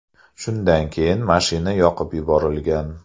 Shundan keyin mashina yoqib yuborilgan.